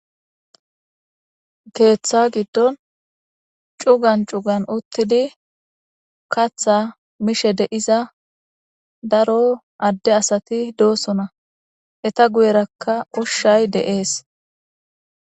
Keththa gidon cugan cugan utidi katha mishe de'iza daro ade asati do'osona eta guyerakka ushshay dee'es.